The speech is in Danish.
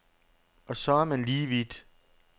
Og så er man lige vidt.